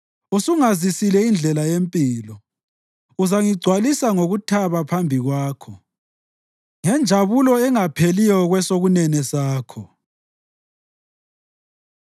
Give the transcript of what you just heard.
Usungazisile indlela yempilo; uzangigcwalisa ngokuthaba phambi kwakho, ngenjabulo engapheliyo kwesokunene sakho.